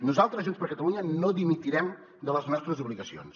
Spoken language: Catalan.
nosaltres junts per catalunya no dimitirem de les nostres obligacions